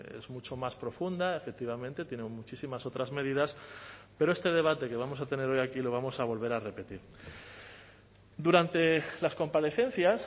es mucho más profunda efectivamente tiene muchísimas otras medidas pero este debate que vamos a tener hoy aquí lo vamos a volver a repetir durante las comparecencias